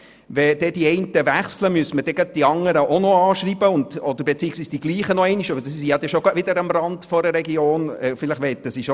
Wenn die einen wechseln, müssten dann die nächsten angeschrieben werden beziehungsweise dieselben erneut, weil sie sich wieder am Rand einer Region befinden würden und vielleicht erneut wechseln möchten.